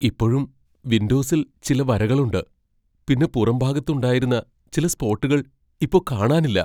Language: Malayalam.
ഇപ്പഴും വിൻഡോസിൽ ചില വരകളുണ്ട് ,പിന്നെ പുറംഭാഗത്ത് ഉണ്ടായിരുന്ന ചില സ്പോട്ടുകൾ ഇപ്പൊ കാണാനില്ല.